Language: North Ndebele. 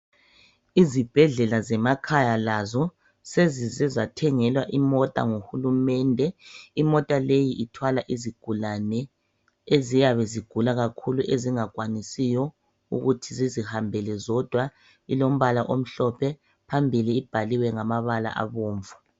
Izibhedlela zemakhaya lazo sezize zathengelwa imota nguhulumende. Imota leyi ithwala izigulane eziyabe zigula kakhulu, ezingakwanisiyo ukuthi zizihambele zodwa. Ilombala omhlophe, phambili ibhaliwe ngamabala abomvu.